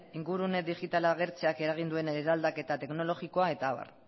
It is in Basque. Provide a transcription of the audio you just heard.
ingurune digitala agertzeak eragin duen eraldaketa teknologikoa eta abar